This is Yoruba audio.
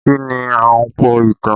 Kí ni Ahunpọ̀ ìtàn?